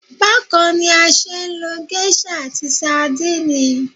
Bákan ni a ṣeé lo geiṣa àti sandínì